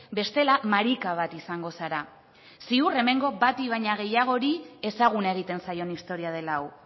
bestela marika bat izango zara ziur hemen bati baino gehiagori ezaguna egiten zaion istorioa dela hau